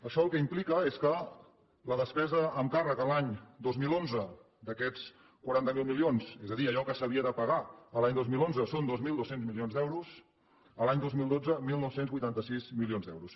això el que implica és que la despesa amb càrrec a l’any dos mil onze d’aquests quaranta miler milions és a dir allò que s’havia de pagar l’any dos mil onze són dos mil dos cents milions d’euros a l’any dos mil dotze dinou vuitanta sis milions d’euros